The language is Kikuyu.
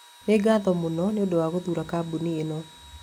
Nĩ ngatho mũno nĩ ũndũ wa gũthuura kambuni ĩno.